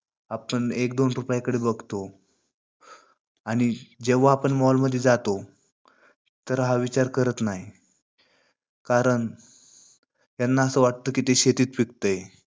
आपण एक दोन रुपयाकडे बघतो. आणि जेव्हा आपण mall मध्ये जातो तर हा विचार करत नाही. कारण त्यांना अस वाटते, कि हे शेतीत पिकतेय.